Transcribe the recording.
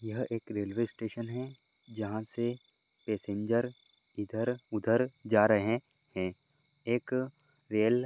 यह एक railway station है जहा से पैसेंजर इधर उधर जा रहे हैं एक रेल --